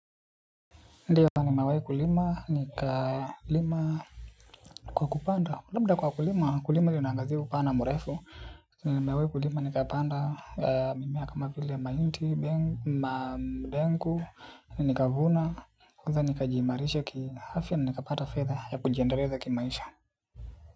Ndiyo nimewai kulima, nikalima kwa kupanda, labda kwa kulima, kulima linaangazia upana mrefu, nimewai kulima nikapanda mimea kama vile mahindi, ndengu, na nikavuna, kwanza ni kajiimarisha kiafya na nikapata fedha ya kujiendeleza kimaisha.